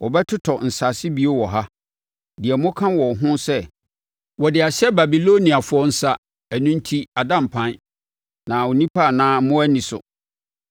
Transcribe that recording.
Wɔbɛtotɔ nsase bio wɔ ha, deɛ moka wɔ ho sɛ, ‘Wɔde ahyɛ Babiloniafoɔ nsa, ɛno enti ada mpan, na nnipa anaa mmoa nni so.’